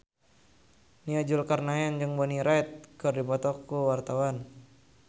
Nia Zulkarnaen jeung Bonnie Wright keur dipoto ku wartawan